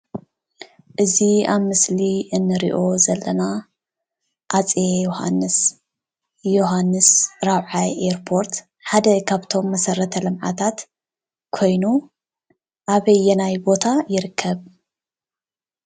እዚ አብ ምስሊ እንሪኦ ዘለና ሃፀይ ዮውሃንስ ዮውሃንስ ራብዓይ ኤርፖት ሓደ ካብቶም መሰረተ ልምዓታት ኮይኑ አበየናይ ቦታ ይርከብ?